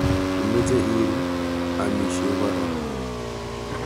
Imeche Iru, amiishe korook.